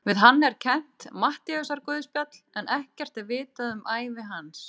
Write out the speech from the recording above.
Við hann er kennt Matteusarguðspjall en ekkert er vitað um ævi hans.